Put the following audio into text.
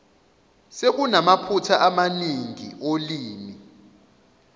sekunamaphutha amaningi olimi